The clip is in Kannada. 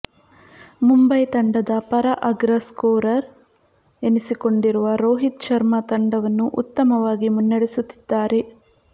ಮುಂಬೈ ತಂಡದ ಪರ ಅಗ್ರ ಸ್ಕೋರರ್ ಎನಿಸಿಕೊಂಡಿರುವ ರೋಹಿತ್ ಶರ್ಮ ತಂಡವನ್ನು ಉತ್ತಮವಾಗಿ ಮುನ್ನಡೆಸುತ್ತಿದ್ದಾರೆ